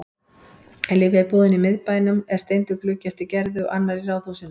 Í lyfjabúðinni í miðbænum er steindur gluggi eftir Gerði og annar í ráðhúsinu.